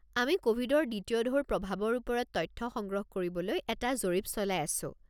আমি ক'ভিডৰ দ্বিতীয় ঢৌৰ প্ৰভাৱৰ ওপৰত তথ্য সংগ্ৰহ কৰিবলৈ এটা জৰীপ চলাই আছো।